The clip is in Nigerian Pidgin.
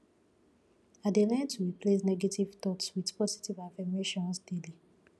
i dey learn to replace negative thoughts with positive affirmations daily